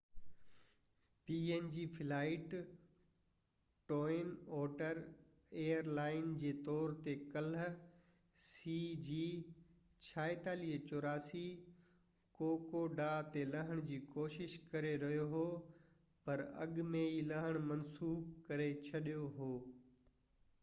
twin otter airline png flight cg4684 جي طور تي ڪلهہ ڪوڪوڊا تي لهڻ جي ڪوشش ڪري رهيو هو پر اڳ ۾ ئي لهڻ منسوخ ڪري ڇڏيو هو